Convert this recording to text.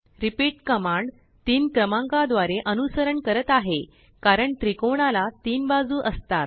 repeatकमांड3क्रमांकाद्वारे अनुसरण करत आहे कारण त्रिकोणाला तीन बाजू असतात